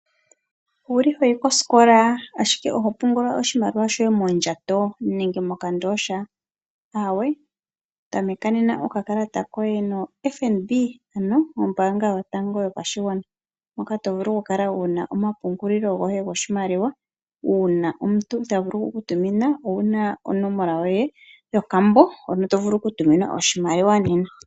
Oho yi kosikola ashike oho pungula oshimaliwa shoye mondjato nenge mokandooha? Aawe, patulula nena okakalata koye noFNB, to vulu okukala wu na omapungulo goye goshimaliwa, uuna omuntu te ku tumine oshimaliwa owu na onomola yoye yomayalulo hono to vulu okutuminwa oshimaliwa nena.